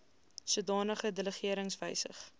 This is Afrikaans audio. sodanige delegerings wysig